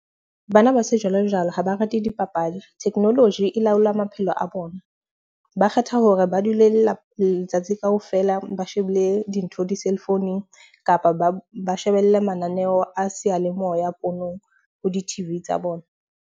Bana ba sejwalejwale ha ba rate dipapadi. Technology e laola maphelo a bona, ba kgetha hore ba dule letsatsi kaofela, ba shebile dintho di-cellphone-ung kapa ba shebelle mananeo a seyalemoya di-T_V tsa bona.